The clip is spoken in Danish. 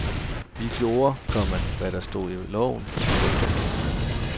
Vi gjorde, komma hvad der stod i loven. punktum